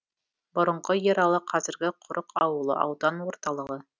бұрынғы ералы қазіргі құрық ауылы аудан орталығы